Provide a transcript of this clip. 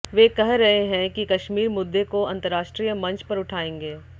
वे कह रहे हैं कि कश्मीर मुद्दे को अंतरराष्ट्रीय मंच पर उठाएंगे